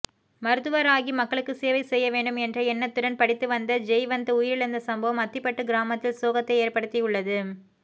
மருத்துவராகி மக்களுக்கு சேவை செய்யவேண்டும் என்ற எண்ணத்துடன் படித்துவந்த ஜெய்வந்த் உயிரிழந்த சம்பவம் அத்திப்பட்டு கிராமத்தில் சோகத்தை ஏற்படுத்தியுள்ளது